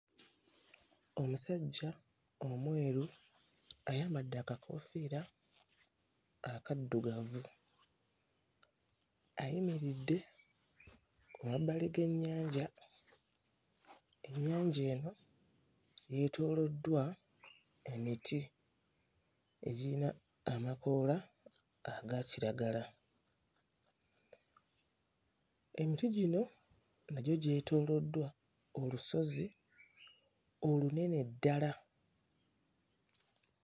Omusajja omweru ayambadde akakoofiira akaddugavu, ayimiridde ku mabbali g'ennyanja. Ennyanja eno yeetooloddwa emiti egiyina amakoola aga kiragala. Emiti gino nagyo gyetooloddwa olusozi olunene ddala.